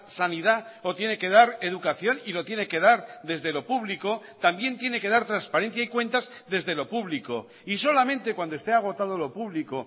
sanidad o tiene que dar educación y lo tiene que dar desde lo público también tiene que dar transparencia y cuentas desde lo público y solamente cuando esté agotado lo público